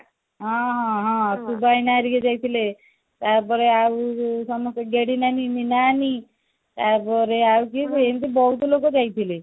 ଆଁ ହଁ ହଁ ଭାଇନା ଘରିକା ଯାଇଥିଲେ ତାପରେ ଆଉ ସମସ୍ତେ ଗେଡି ନାନୀ ମିନା ନାନୀ ତାପରେ ଆଉ କିଏ ଏମତି ବଉତ ଲୋକ ଯାଇଥିଲେ